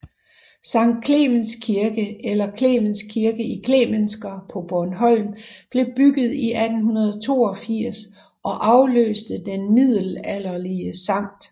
Sankt Clemens Kirke eller Klemens Kirke i Klemensker på Bornholm blev bygget 1882 og afløste den middelalderlige Sct